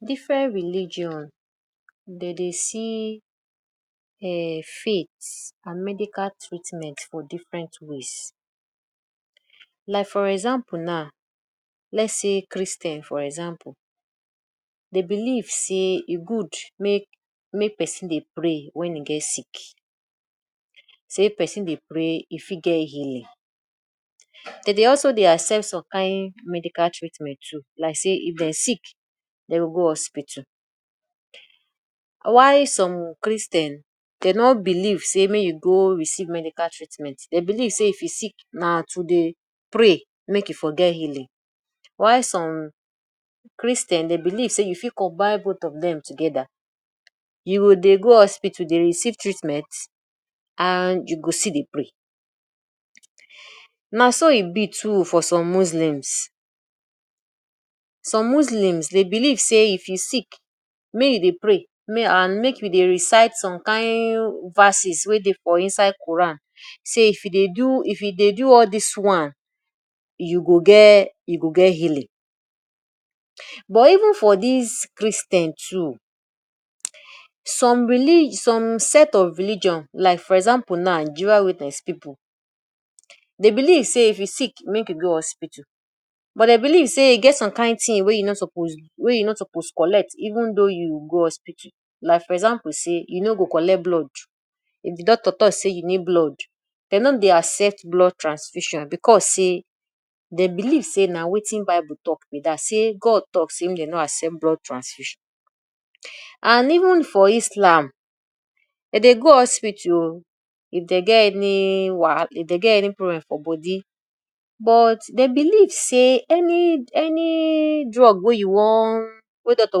Different religion den dey see um faith and medicial treatment for different ways. Like for example now, let’s sey Christian for example dey believe sey e good make make person dey pray wen e get sick, sey person dey pray e fit get healing. Dem dey also dey accept some kind medical treatment too like sey if dem sick, dem go go hospital. While some Christian dey no believe sey make you go receive medical treatment. Dem believe sey if you sick na to dey pray make you for get healing. While some Christian dey believe sey you fit combine both of them together, you go dey go hospital dey receive treatment and you go still dey pray. Na so e be too for some muslims. Some muslims dey believe sey if you sick make you dey pray make? and make you dey recite some kind verses wey dey for inside Quran. Sey if you dey do if e dey do all this one, you go get you go get healing. But even for dis Christian too some reli some set of religion like for example now, Jehova witness people dey believe sey if you sick make you go hospital but dey believe say e get some kind thing wey you no suppose wey you no suppose collect even though you go hospital. Like for example sey you no go collect blood if di doctor talk say you need blood, dem no dey accept blood transfusion because sey dey believe sey na wetin Bible talk be dat, sey God talk sey make dem no accept blood transfusion. And even for Islam dey dey go hospital oo if dey get any wahala, If dey get any problem for body. But dey believe sey any any drug wey you wan wey doctor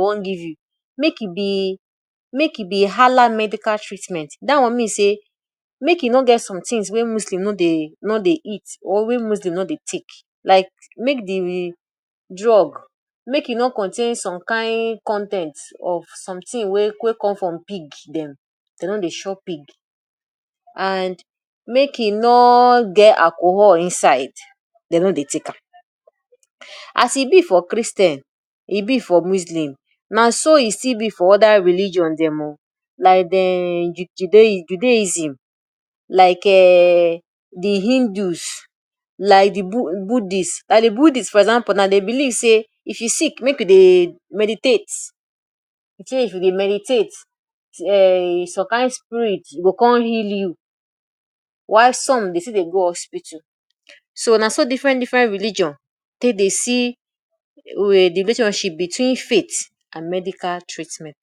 wan give you make e be make e be Allah medical treatment. Dat wan mean sey make e no get some things wey muslim no dey no dey eat or wey muslim no dey take like make de drug, make e no contain some kain con ten t of something wey we come from pig dem, dey no dey chop pig and make e no get alcohol inside dey no dey take am. As e be for Christian, e be for muslim na so e still be for other religion dem oo like dem um Judaism, like um de Hindus, like de Buddhist. Like de Buddhist for example now, dey believe sey if you sick make you dey meditate, say if you dey meditate um some kain spirit go come heal you while some dey still dey go hospital. So na so different different religion take dey see de um relationship between faith and medical treatment.